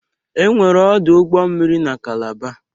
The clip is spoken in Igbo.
Enwere ọdụ ụgbọ mmiri n'Kalaba.